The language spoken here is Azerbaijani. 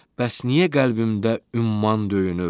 Bəs niyə qəlbində ümman döyünür?